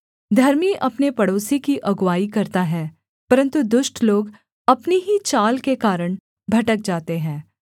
धर्मी अपने पड़ोसी की अगुआई करता है परन्तु दुष्ट लोग अपनी ही चाल के कारण भटक जाते हैं